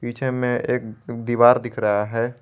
पीछे में एक दीवार दिख रहा है।